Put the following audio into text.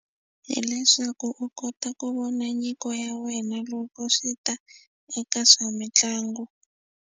Hileswaku u kota ku vona nyiko ya wena loko swi ta eka swa mitlangu.